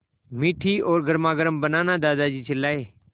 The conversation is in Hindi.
मीठी और गर्मागर्म बनाना दादाजी चिल्लाए